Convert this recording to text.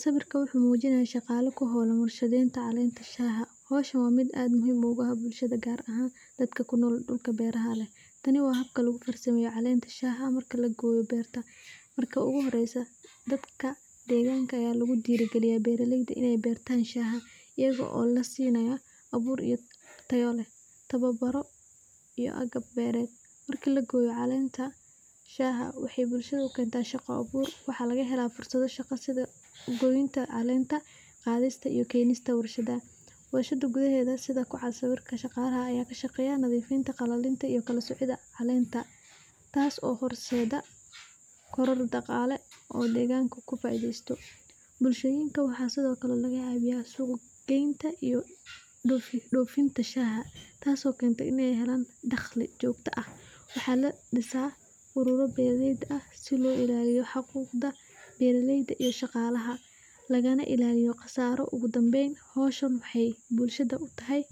Sawiirka wuxuu mujinaaya shaqala ku hoolan war shadeenta caleenta shaha, howsha waa mid aad bulshada muhiim ugu ah gaar ahaan dadka kunool dulka beeraha leh tani waa habka lagu farsameeyo caleenta shaha marka la gooyo beerta, marka ugu horeysa dadka deeganka ayaa lagu diiri galiya beeraleyda inaay beertaan shaha, iyago oo lasiinaaya abuur tayo leh, tababaro iyo agab beered, marki la gooyo caleenta shaha waxeey bulshada ukeenta shaqa abuur, waxaa laga helaa fursado shaqa sida gooyinta caleenta, qadista iyo keninta warshadaha, warshada gudaheeda, sawiirka shaqalaha ayaa ka shaqeeya nadiifinta, ilalinta iyo kala soocida caleenta, taas oo horseeda koror daqaale oo deeganka ku faideesto, bulshooyinka waxaa sido kale suuq geenta iyo doofinta shaqada taas oo keenta inaay helaan daqli joogta ah, waxaa la disaa aruuro beered ah si loo ilaaliyo habka beeraleyda iyo shaqalaha, lagana ilaaliyo qasaaro, ogu danbeyn howshan waxeey bulshada utahay,